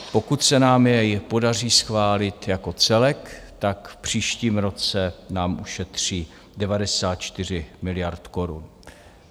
Pokud se nám jej podaří schválit jako celek, tak v příštím roce nám ušetří 94 miliard korun.